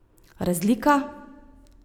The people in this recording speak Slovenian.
Razlika?